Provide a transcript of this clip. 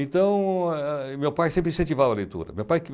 Então, eh meu pai sempre incentivava a leitura.